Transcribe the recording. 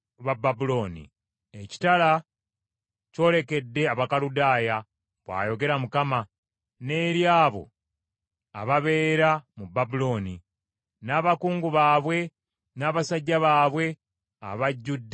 “Ekitala kyolekedde Abakaludaaya,” bw’ayogera Mukama , “n’eri abo ababeera mu Babulooni, n’abakungu baabwe n’abasajja baabwe abajjudde amagezi!